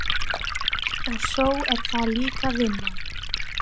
Og svo er það líka vinnan.